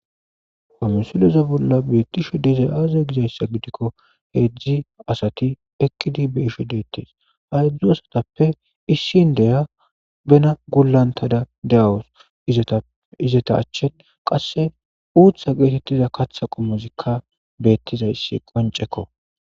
Ha misileza bolla beettishe dizay aaze gizayssa gidikko heedzdzi asati ekkidi be isho deettes hayedzdzu asatappe issin deya bena gulantada de7awos izea izeta achchin qasse uutha geetettiza katha qommozikka beettizayssi qoncekko